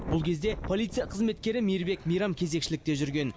бұл кезде полиция қызметкері мейірбек мейрам кезекшілікте жүрген